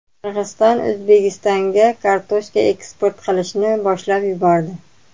Qirg‘iziston O‘zbekistonga kartoshka eksport qilishni boshlab yubordi.